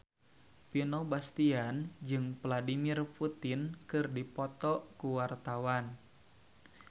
Vino Bastian jeung Vladimir Putin keur dipoto ku wartawan